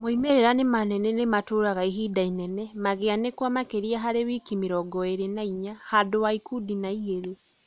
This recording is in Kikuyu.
Moimĩrira nĩ manene na nĩmatũraga ihinda inene magĩanĩkwo makĩria harĩ wiki mĩrongo-ĩrĩ na inya handũ wa ikundi na igĩrĩ ?